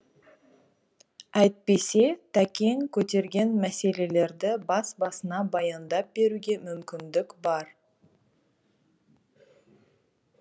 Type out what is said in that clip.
әйтпесе тәкең көтерген мәселелерді бас басына баяндап беруге мүмкіндік бар